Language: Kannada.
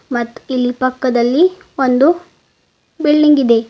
ಮತ್ತ್ ಇಲ್ಲಿ ಪಕ್ಕದಲ್ಲಿ ಒಂದು ಬಿಲ್ಡಿಂಗ್ ಇದೆ.